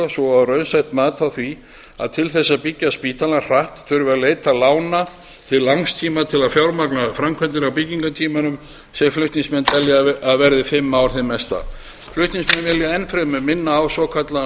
svo og raunsætt mat á því að til þess að byggja spítalann hratt þurfi að leita lána til langs tíma til að fjármagna framkvæmdir á byggingartímanum sem flutningsmenn telja að verði fimm ár hið mesta flutningsmenn vilja enn fremur minna á svokallaðan